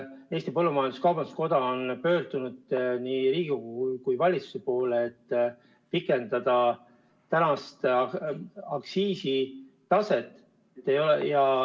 Eesti Põllumajandus-Kaubanduskoda on pöördunud nii Riigikogu kui valitsuse poole palvega pikendada praeguse aktsiisi kehtimist.